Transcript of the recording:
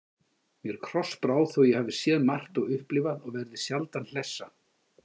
Mér krossbrá, þótt ég hafi séð margt og upplifað og verði sjaldan hlessa.